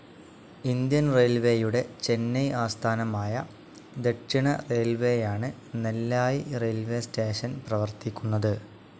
Indian റെയിൽവേയുടെ ചെന്നൈ ആസ്ഥാനമായ ദക്ഷിണറെയിൽവേയാണ് നെല്ലായി റെയിൽവേസ്‌ സ്റ്റേഷൻ പ്രവർത്തിക്കുന്നത്.